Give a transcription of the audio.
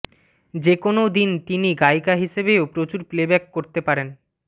যে কোনও দিন তিনি গায়িকা হিসেবেও প্রচুর প্লেব্যাক করতে পারেন